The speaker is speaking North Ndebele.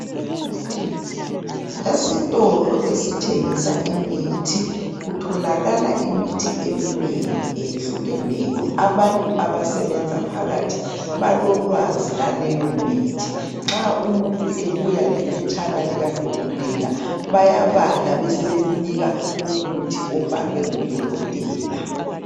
Esitolo esithengisa imithi kutholakala imithi eminengi eyehlukeneyo. Abantu abasebenza phakathi balolwazi laleyo mithi nxa umuntu ebuya lephetshana likadokotela bayabala besebemnika umuthi obhalwe ngudokotela.